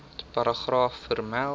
paragraaf vermeld